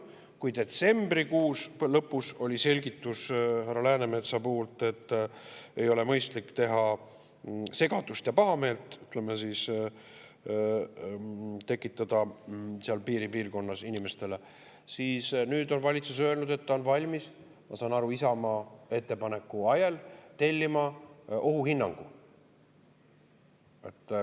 Kui detsembrikuu lõpus oli härra Läänemetsa selgitus, et ei ole mõistlik tekitada segadust ja pahameelt inimestele seal piiripiirkonnas, siis nüüd on valitsus öelnud, et ta on valmis – ma saan aru, Isamaa ettepaneku ajel – tellima ohuhinnangu.